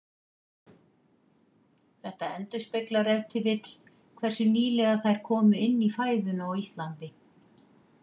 Þetta endurspeglar ef til vill hversu nýlega þær komu inn í fæðuna á Íslandi.